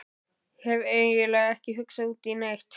Hef eiginlega ekki hugsað út í neitt.